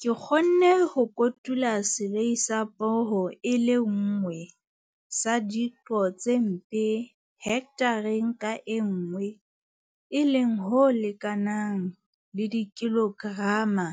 Ke kgonne ho kotula selei sa poho e le nngwe sa diqo tse mpe hekthareng ka nngwe e leng ho lekanang le dikilograma